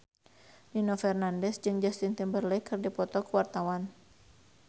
Nino Fernandez jeung Justin Timberlake keur dipoto ku wartawan